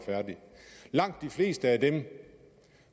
langt de fleste af dem